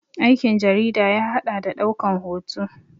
Aikin jarida ya haɗa da ɗaukan hoto